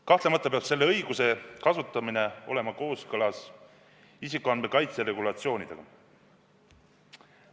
Kahtlemata peab selle õiguse kasutamine olema kooskõlas isikuandmete kaitse regulatsioonidega.